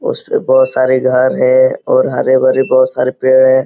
उसके बहोत सारे घर हैं और हरे-भरे बहोत सारे पेड़ हैं।